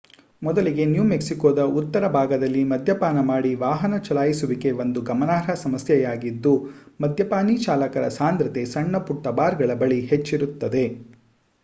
ಮೊದಲಿಗೆ ನ್ಯೂ ಮೆಕ್ಸಿಕೋದ ಉತ್ತರ ಭಾಗದಲ್ಲಿ ಮದ್ಯಪಾನ ಮಾಡಿ ವಾಹನ ಚಲಾಯಿಸುವಿಕೆ ಒಂದು ಗಮನಾರ್ಹ ಸಮಸ್ಯೆಯಾಗಿದ್ದು ಮದ್ಯಪಾನೀ ಚಾಲಕರ ಸಾಂದ್ರತೆ ಸಣ್ಣ ಪುಟ್ಟ ಬಾರ್ಗಳ ಬಳಿ ಹೆಚ್ಚಿರುತ್ತದೆ